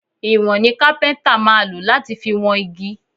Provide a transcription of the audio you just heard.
Ìwọ̀n ni kápẹ́ntà máa lò láti fi wọn igi